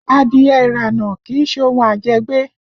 Adìẹ ìrànà kì í ṣe ohun ajẹ́gbé